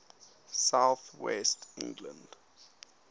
south west england